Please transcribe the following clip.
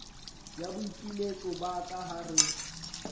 ya boipiletso ba ka hare